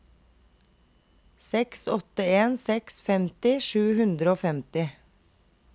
seks åtte en seks femti sju hundre og femti